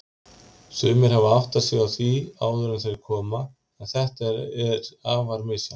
Sumir hafa áttað sig á því áður en þeir koma, en þetta er afar misjafnt.